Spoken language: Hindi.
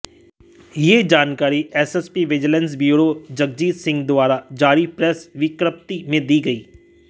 यह जानकारी SSP vigilance bureau Jagjit Singh द्वारा जारी प्रेस विज्ञप्ति में दी गई